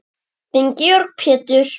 Þinn Georg Pétur.